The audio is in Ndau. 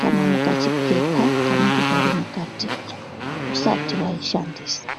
kana mukachipepa kanenge Kari mukatimwo usati waishandisa.